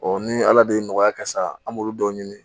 ni ala de ye nɔgɔya ka sa an b'olu dɔw ɲini